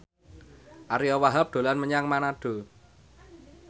Ariyo Wahab dolan menyang Manado